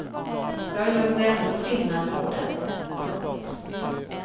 Jag gör nog ändå skillnad på dem. punkt